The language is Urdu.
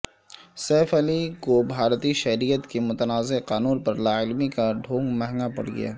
سیف علی کوبھارتی شہریت کے متنازع قانون پرلاعلمی کا ڈھونگ مہنگا پڑگیا